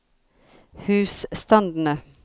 husstandene